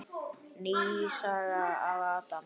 Ný saga af Adam.